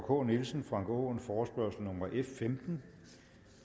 k nielsen og frank aaen forespørgsel nummer f femten